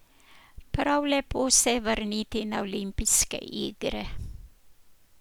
Prav lepo se je vrniti na olimpijske igre.